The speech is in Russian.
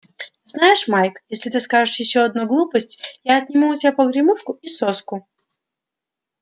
знаешь майк если ты скажешь ещё одну глупость я отниму у тебя погремушку и соску